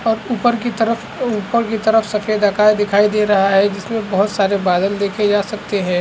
और ऊपर की तरफ ओ ऊपर की तरफ सफेद आकाश दिखाई दे रहा है जिसमें बहुत सारे बादल देखे जा सकते है।